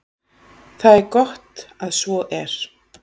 Það er gott að svo er.